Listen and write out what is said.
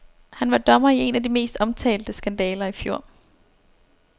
Han var dommer i en af de mest omtalte skandaler i fjor.